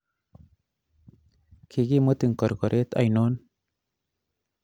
Kigimutin korkoreet ainon